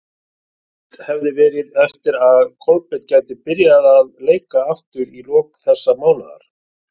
Vonast hafði verið eftir að Kolbeinn gæti byrjað að leika aftur í lok þessa mánaðar.